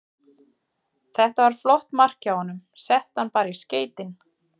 Þetta var flott mark hjá honum, setti hann bara í skeytin.